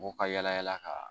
U ka yalayala ka